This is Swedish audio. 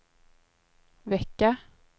vecka